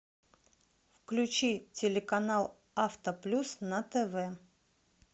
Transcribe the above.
включи телеканал авто плюс на тв